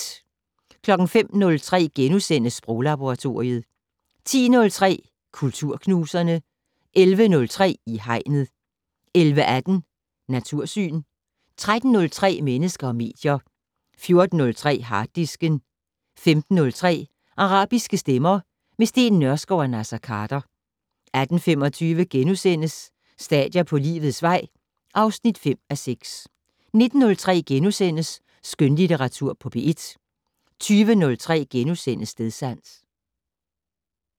05:03: Sproglaboratoriet * 10:03: Kulturknuserne 11:03: I Hegnet 11:18: Natursyn 13:03: Mennesker og medier 14:03: Harddisken 15:03: Arabiske stemmer - med Steen Nørskov og Naser Khader 18:25: Stadier på livets vej (5:6)* 19:03: Skønlitteratur på P1 * 20:03: Stedsans *